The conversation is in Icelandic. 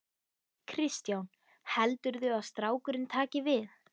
Kristján: Heldurðu að strákurinn taki við?